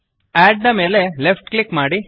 ಅಡ್ ಮೇಲೆ left click ಮಾಡಿ